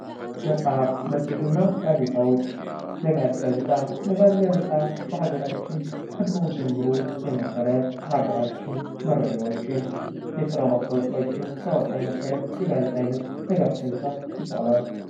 መጽሐፍ መጽሄት እና ጋዜጣዎች ነጋሪት ጋዜጣ ነጋሪት ጋዜጣ በአገራችን ከድሮ ጀምሮ የነበረ የሀገራችን መረጃዎችን፣ የስራ ማስታወቂያዎችን ሲያወጣ የነበረ የጋዜጣ አይነት ነጋሪት ጋዜጣ ይባላል።